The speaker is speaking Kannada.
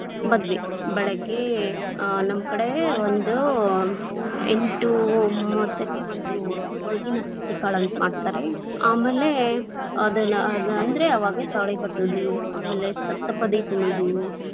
ಮದ್ವೆ, ಬೆಳಗ್ಗೆ ಆ ನಮ್ ಕಡೆ ಒಂದು ಎಂಟು ಮೂವತ್ತಕ್ಕೆ ಒಂದು ಒಳಗಿನ ಅಕ್ಕಿಕಾಳು ಅಂತ ಮಾಡ್ತಾರೆ, ಆಮೇಲೆ ಅದನ್ನ ಅದ ಅಂದ್ರ ಅವಾಗ ತಾಳಿ ಕಟ್ಟೋದು, ಆಮೇಲೆ ಸಪ್ತಪದಿ ತುಳದು.